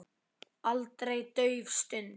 Aldrei dauf stund.